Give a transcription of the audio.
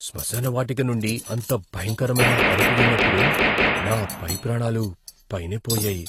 స్మశానవాటిక నుండి అంత భయంకరమైన అరుపు విన్నప్పుడు నా పై ప్రాణాలు పైనే పోయాయి.